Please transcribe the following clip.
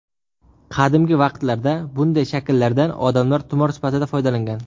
Qadimgi vaqtlarda bunday shakllardan odamlar tumor sifatida foydalangan.